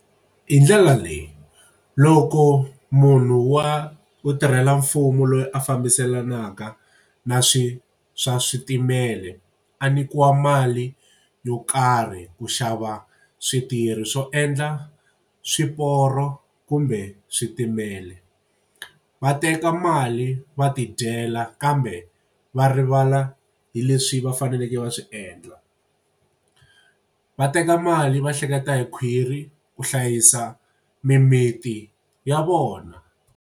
Hi ndlela leyi loko munhu wa wo tirhela mfumo loyi a fambiselanaka na swi swa switimela a nyikiwa mali yo karhi ku xava switirhi swo endla swiporo kumbe switimela va teka mali va tidyela kambe va rivala hi leswi va faneleke va swi endla va teka mali va hleketa hi khwiri ku hlayisa mimiti ya vona.